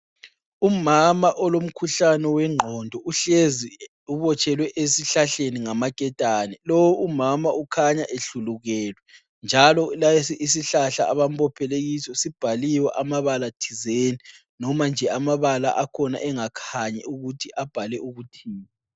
Umama olomkhuhlane wengqondo uhlezi ubotshelwe esihlahleni ngamaketani. Lowu umama ukhanya ehlulukelwe njalo lesi isihlahla abambophele kiso sibhaliwe amabala thizeni noma nje amabala akhona engakhanyi ukuthi abhalwe ukuthini.